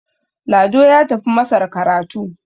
Lado ya tafi masar karatu